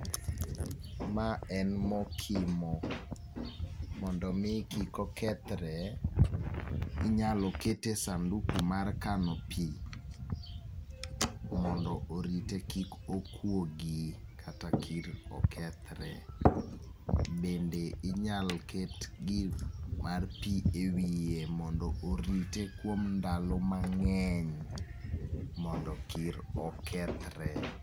Ma en mokimo. Mondo omi kik okethre, inyalo kete e sanduku mar kano pii, mondo orite kik okuogi kata kik okethre. Bende inyalo ket gir mar pii e wiye, mondo orite kuom ndalo mang'eny mondo kik okethre.